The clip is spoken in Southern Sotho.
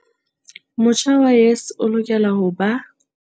Motjha wa YES o lokela ho ba.